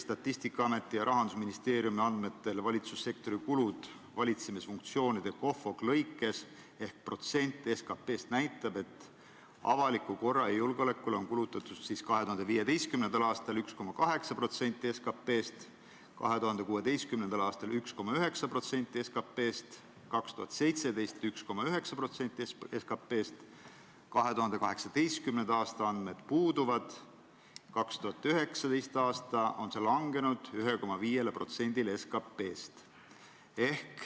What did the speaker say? Statistikaameti ja Rahandusministeeriumi andmetel valitsussektori kulud valitsemisfunktsioonide lõikes ehk protsent SKP-st näitab, et avalikule korrale ja julgeolekule kulutati 2015. aastal 1,8% SKP-st, 2016. aastal 1,9% SKP-st, 2017. aastal 1,9% SKP-st, 2018. aasta andmed puuduvad, 2019. aastal on see kulutus vähenenud 1,5%-ni SKP-st.